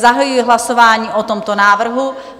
Zahajuji hlasování o tomto návrhu.